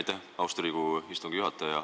Aitäh, austatud Riigikogu istungi juhataja!